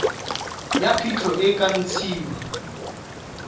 ya phitlho e ka ntshiwa